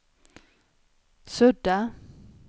sudda